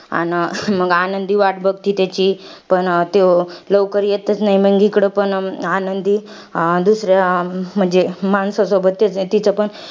अन मंग आनंदी वाट बघती त्याची. पण त्यो लवकर येतंच न्हाई. मंग इकडं पण आनंदी, दुसऱ्या म्हणजे माणसा सोबत त्याच तिचं पण